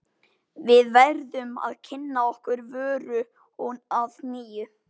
Við verðum að kynna okkar vöru að nýju.